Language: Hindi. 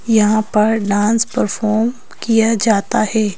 यहां पर डांस परफॉर्म किया जाता है।